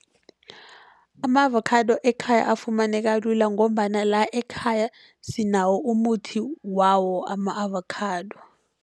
Ama-avocado ekhaya afumaneka lula, ngombana la ekhaya sinawo umuthi wawo ama-avakhado.